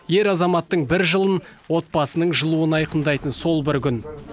ер азаматтың бір жылын отбасының жылуын айқындайтын сол бір күн